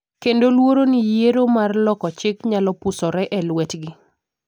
kendo luoro ni yiero mar loko chik nyalo posore e lwetgi,